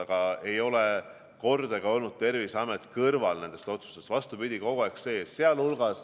Aga mitte kordagi pole Terviseametit jäetud kõrvale nendest otsustustest, vastupidi, nad on olnud kogu aeg kaasatud.